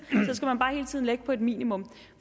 hele tiden ligge på et minimum